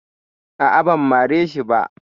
Aa, ban mare shi ba